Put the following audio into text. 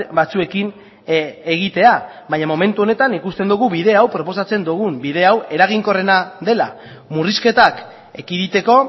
batzuekin egitea baina momentu honetan ikusten dugu bide hau proposatzen dugun bide hau eraginkorrena dela murrizketak ekiditeko